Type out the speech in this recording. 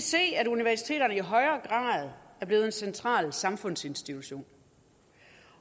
se at universiteterne i højere grad er blevet en central samfundsinstitution